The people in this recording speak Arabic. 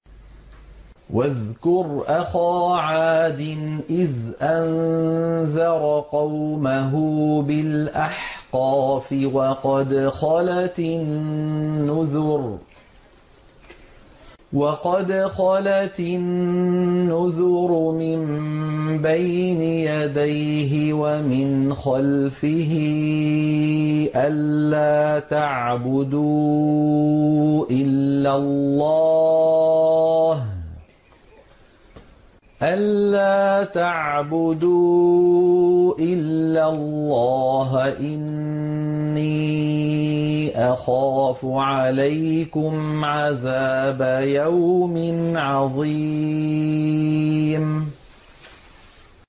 ۞ وَاذْكُرْ أَخَا عَادٍ إِذْ أَنذَرَ قَوْمَهُ بِالْأَحْقَافِ وَقَدْ خَلَتِ النُّذُرُ مِن بَيْنِ يَدَيْهِ وَمِنْ خَلْفِهِ أَلَّا تَعْبُدُوا إِلَّا اللَّهَ إِنِّي أَخَافُ عَلَيْكُمْ عَذَابَ يَوْمٍ عَظِيمٍ